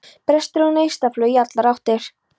Brestir og neistaflug í allar áttir.